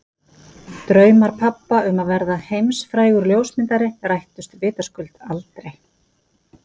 Draumar pabba um að verða heimsfrægur ljósmyndari rættust vitaskuld aldrei.